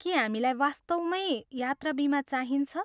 के हामीलाई वास्तवमै यात्रा बिमा चाहिन्छ?